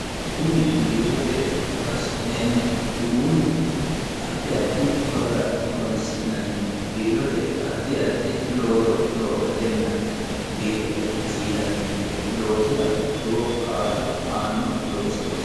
kuni biirote horoonsi'neemmo uduunni addi addi horora koronsi'nanni biirote addi addi looso loosatenna biirote hasiisannonke loozira lowo kaa'lo aannonke loosooti